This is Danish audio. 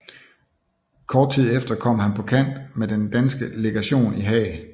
Kort tid efter kom han på kant med den danske legation i Haag